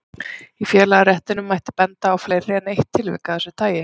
Í félagaréttinum mætti benda á fleiri en eitt tilvik af þessu tagi.